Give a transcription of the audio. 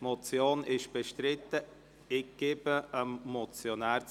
– Die Motion wird bestritten, ich gebe das Wort dem Motionär.